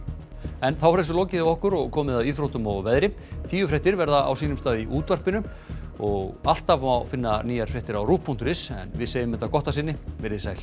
er þessu lokið hjá okkur og komið að íþróttum og veðri tíufréttir verða á sínum stað í útvarpinu í og alltaf má finna nýjar fréttir á rúv punktur is en við segjum þetta gott að sinni veriði sæl